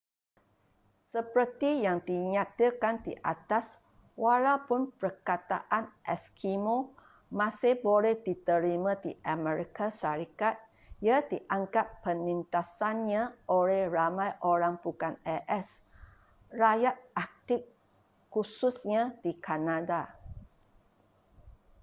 seperti yang dinyatakan di atas walaupun perkataan eskimo masih boleh diterima di amerika syarikat ia dianggap penindasannya oleh ramai orang bukan as rakyat arctic khususnya di kanada